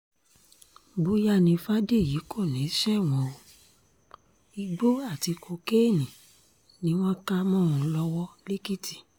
bóyá ni fàdèyí kò ní í ṣẹ̀wọ̀n o igbó àti kokéènì ni wọ́n kà mọ́ ọn lọ́wọ́ lẹ́kìtì